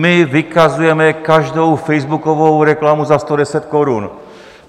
My vykazujeme každou facebookovou reklamu za 110 korun.